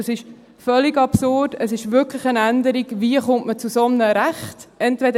Dies ist völlig absurd, es ist wirklich eine Änderung, wie man zu einem solchen Recht kommt.